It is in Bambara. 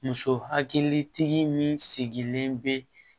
Muso hakilitigi min sigilen bɛ